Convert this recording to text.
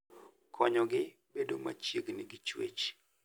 Konyogi bedo machiegni gi chwech.